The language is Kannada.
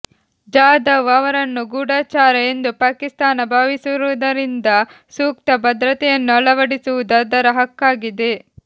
ಜಾಧವ್ ಅವರನ್ನು ಗೂಢಚಾರ ಎಂದು ಪಾಕಿಸ್ತಾನ ಭಾವಿಸುವುದರಿಂದ ಸೂಕ್ತ ಭದ್ರತೆಯನ್ನು ಅಳವಡಿಸುವುದು ಅದರ ಹಕ್ಕಾಗಿದೆ